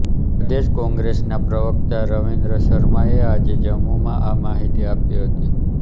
પ્રદેશ કોંગ્રેસના પ્રવક્તા રવિન્દ્ર શર્માએ આજે જમ્મુમાં આ માહિતી આપી હતી